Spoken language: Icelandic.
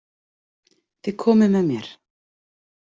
Þið komið með mér